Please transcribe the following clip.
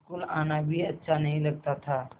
school आना भी अच्छा नहीं लगता था